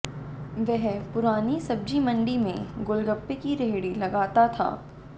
वह पुरानी सब्जी मंडी में गोलगप्पे की रेहड़ी लगाता था